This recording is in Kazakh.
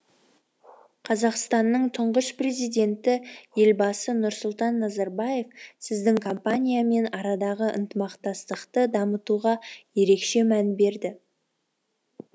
қазақстанның тұңғыш президенті елбасы нұрсұлтан назарбаев сіздің компаниямен арадағы ынтымақтастықты дамытуға ерекше мән берді